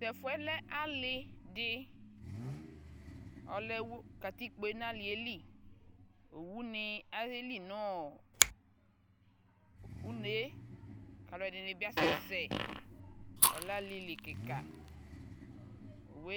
ɛbʋɛlɛ dza , mɛmʋ ayi ɛbʋɛlɛ? aka kpɔ bɔlʋ, anakyɛ ayi bɔlʋ, yamʋ alʋ wani ta adʋ atami awʋ wani ɛlʋɛlʋ nʋ ɛbʋɛlɛ dzaɛ